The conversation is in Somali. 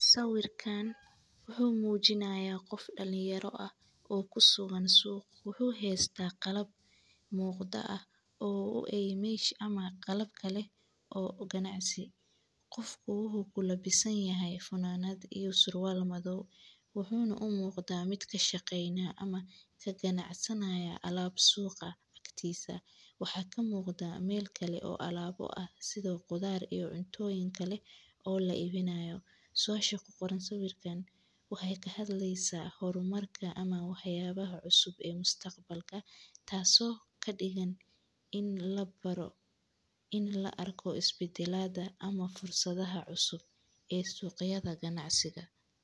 Sawirkaan wuxuu muujinayaa qof dhalinyaro ah oo ku soogan suuq, wuxuu hees taa qalab muuqda ah oo u eymaysh ama qalab kale oo ganacsig. Qofku wuxuu ku labisan yahay fanaanad iyo surwal madow, wuxuuna u muuqda mid ka shaqeynaa ama ka ganacsanaya alaab suuqa aktiisa. Waxaa ka muuqda meel kale oo alaabo ah sidoo qudar iyo cuntooyin kale oo la iibinayo. Su'aasha ku qoran sawirkan waxay ka hadlaysaa horumarka ama waayaabaha cusub ee mustaqbalka taaso ka dhigan in la baro, in la arko isbitilada ama fursadaha cusub ee suuqyada ganacsiga.